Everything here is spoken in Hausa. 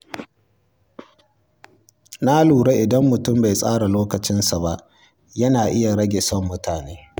Na lura cewa idan mutum bai tsara lokacinsa ba, yana iya rage son kula mutane.